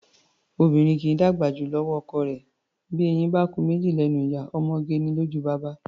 Obìnrin kì í dàgbà jù lọ́wọ́ ọkọ rẹ̀; bí eyín bá ku méjì lẹ́nu ìyá, ọmọge ni lójú baba.